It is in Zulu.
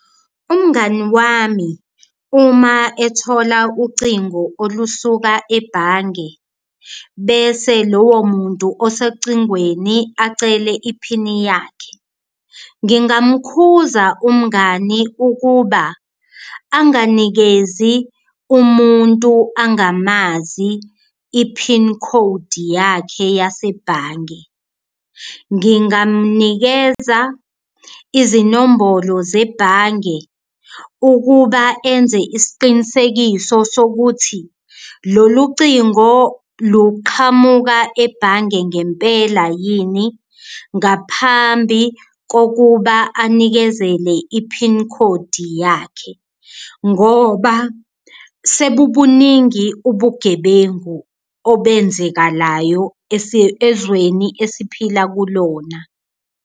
Umngani wami uma ethola ucingo olusuka ebhange bese lowo muntu osecingweni acele iphini yakhe ngingamukhuthaza umngani ukuba anganikezi umuntu angamazi iphini khodi yakhe yasebhange. Ngingamnikeza izinombholo zebhange ukuba enze isiqinisekiso sokuthi lolu cingo luqhamuka ebhange ngempela yini ngaphambi kokuba anikezele iphini khodi yakhe ngoba sebubuningi ubugebengu obenzekalayo ezweni esiphila kulona.